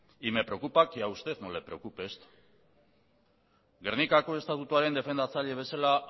y me preocupa que a usted no le preocupe esto gernikako estatutuaren defendatzaile bezala